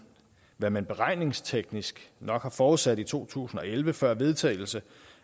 hvad man beregningsteknisk nok har forudsat i to tusind og elleve før vedtagelsen